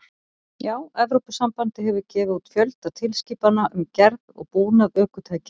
Já, Evrópusambandið hefur gefið út fjölda tilskipana um gerð og búnað ökutækja.